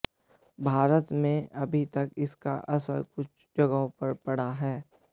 भारत में अभी तक इसका असर कुछ जगहों पर पड़ा है